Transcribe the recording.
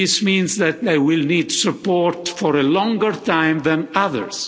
This means that they will need support for a longer time than others.